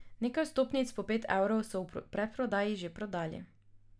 Nekaj vstopnic po pet evrov so v predprodaji že prodali.